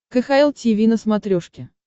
кхл тиви на смотрешке